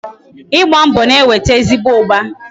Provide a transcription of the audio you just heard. Igba mbọ na-eweta ezigbo ụba